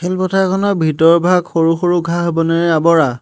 খেল পথাৰখনৰ ভিতৰভাগ সৰু-সৰু ঘাঁহ-বনেৰে আৱৰা।